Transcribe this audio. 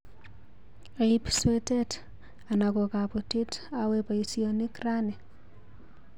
Aip swetet ana ko kabutit awe baisyonik rani.